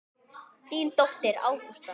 Þín dóttir, Ágústa.